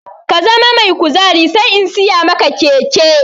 Ka zama mai kuzari sai in siya maka keke!